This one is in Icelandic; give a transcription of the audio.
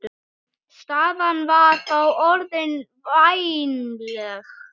Staðan var þá orðin vænleg.